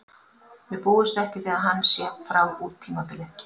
Við búumst ekki við að hann sé frá út tímabilið.